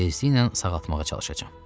Tezliklə sağaltmağa çalışacam.